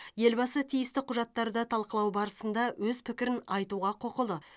елбасы тиісті құжаттарды талқылау барысында өз пікірін айтуға құқылы